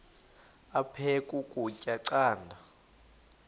aphek ukutya canda